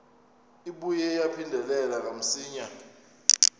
ibuye yaphindela kamsinya